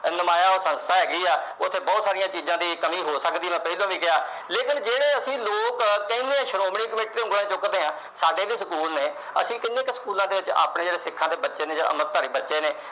ਸੰਸਥਾ ਹੈਗੀ ਆ। ਬਹੁਤ ਸਾਰੀਆਂ ਚੀਜਾਂ ਦੀ ਕਮੀ ਹੋ ਸਕਦੀ ਆ, ਮੈਂ ਪਹਿਲਾ ਵੀ ਕਿਹਾ। ਲੇਕਿਨ ਜੇ ਅਸੀਂ ਲੋਕ ਕਹਿੰਦੇ ਆ ਸ਼੍ਰੋਮਣੀ committee ਤੇ ਉਂਗਲ ਚੁੱਕਦੇ ਆ। ਸਾਡੇ ਵੀ school ਨੇ, ਅਸੀਂ ਕਿੰਨੇ ਕੁ schools ਚ ਆਪਣੇ ਸਿੱਖਾਂ ਦੇ ਬੱਚੇ, ਜਿਹੜੇ ਅੰਮ੍ਰਿਤਧਾਰੀ ਬੱਚੇ ਨੇ